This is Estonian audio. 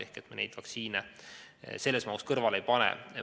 Seetõttu me vaktsiine nii suures mahus kõrvale ei pane.